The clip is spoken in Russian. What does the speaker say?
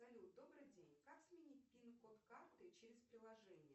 салют добрый день как сменить пин код карты через приложение